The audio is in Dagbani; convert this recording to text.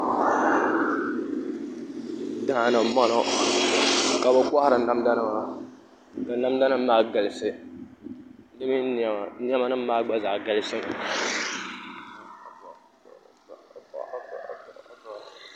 Daani n bɔŋɔ ka bi kohari namda nima ka namda nim maa galisi di mini niɛma niɛma nim maa gba zaa galisimi